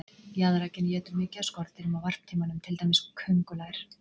Jaðrakaninn étur mikið af skordýrum á varptímanum, til dæmis köngulær.